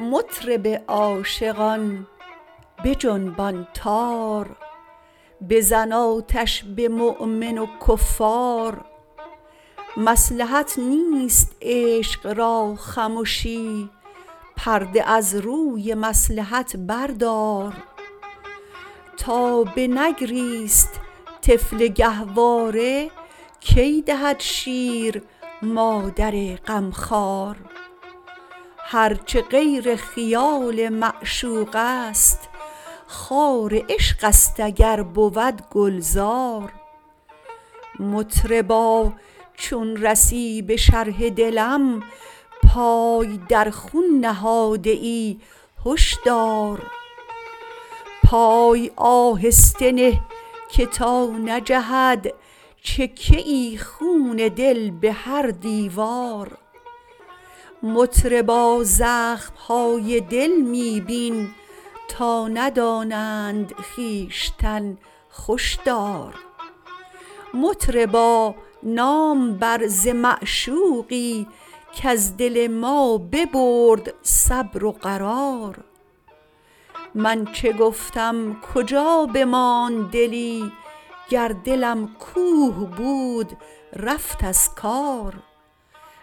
مطرب عاشقان بجنبان تار بزن آتش به مؤمن و کفار مصلحت نیست عشق را خمشی پرده از روی مصلحت بردار تا بنگریست طفل گهواره کی دهد شیر مادر غمخوار هر چه غیر خیال معشوقست خار عشقست اگر بود گلزار مطربا چون رسی به شرح دلم پای در خون نهاده ای هش دار پای آهسته نه که تا نجهد چکه ای خون دل به هر دیوار مطربا زخم های دل می بین تا ندانند خویشتن خوش دار مطربا نام بر ز معشوقی کز دل ما ببرد صبر و قرار من چه گفتم کجا بماند دلی گر دلم کوه بود رفت از کار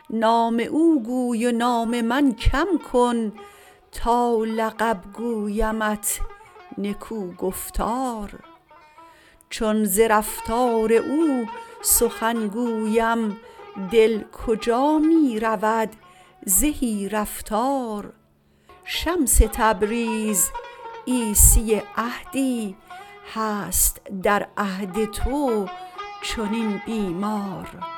نام او گوی و نام من کم کن تا لقب گویمت نکوگفتار چون ز رفتار او سخن گویم دل کجا می رود زهی رفتار شمس تبریز عیسی عهدی هست در عهد تو چنین بیمار